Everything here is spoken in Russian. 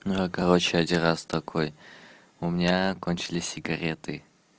я короче один раз такой у меня кончились сигареты